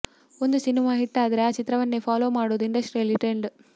ಒಂದು cinema hit ಆದ್ರೆ ಆ ಚಿತ್ರವನ್ನೇ ಫಾಲೋ ಮಾಡೋದು ಇಂಡಸ್ಟ್ರಿಯಲ್ಲಿ ಟ್ರೆಂಡ್